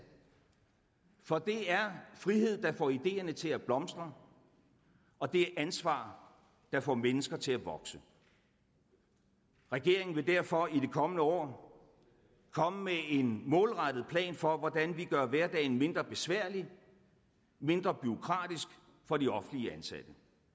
for det er frihed der får ideerne til at blomstre og det er ansvar der får mennesker til at vokse regeringen vil derfor i det kommende år komme med en målrettet plan for hvordan vi gør hverdagen mindre besværlig og mindre bureaukratisk for de offentligt ansatte